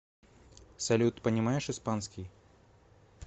салют понимаешь испанский